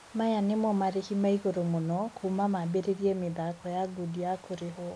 Maya nĩmo marĩhi maigũrũ mũno kuuma maambĩrĩrie mĩthako ya ngundi ya kũrĩhwo.